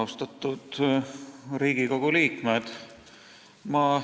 Austatud Riigikogu liikmed!